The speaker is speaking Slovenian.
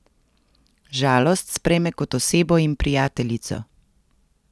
Žalost sprejme kot osebo in prijateljico.